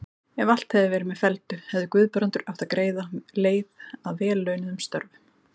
Ef allt hefði verið með felldu, hefði Guðbrandur átt greiða leið að vel launuðum störfum.